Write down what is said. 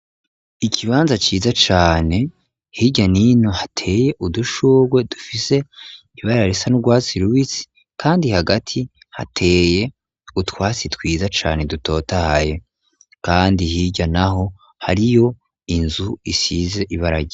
Ikibanza ciza cane. Hirya n'ino hateye udushurwe dufise ibarare risa n'urwatsi rubisi. Kandi hagati hateye utwasi twiza cane dutotaye, kandi hirya naho hariyo inzu isize ibara ryera.